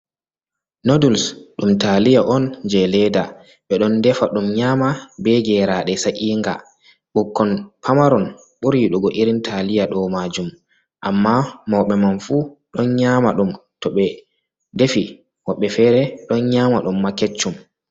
Noduls ɗum taliya on je leɗɗa. ɓe ɗon defa dum nyama be geraɗe sainga. Bukkon pamaron buri yidugo irin taliya do majum. Amma mauɓe man fu ɗon nyama ɗum to be defi woɓɓe fere ɗon nyama ɗum ma keccum.